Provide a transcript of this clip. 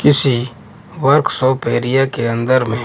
किसी workshop area के अंदर में।